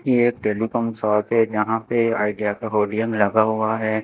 यह telecom shop है। जहां पे आइडिया का लगा हुआ है।